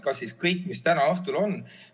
Kas siis kõik, mis täna õhtul on ...